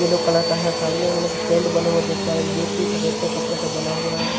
Yellow colour का है सामने हम लोग टेंट बने हुए देख पा रहे हैं जोकि सफेद का कपड़ा से बना हुआ है।